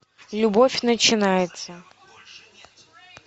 любовь начинается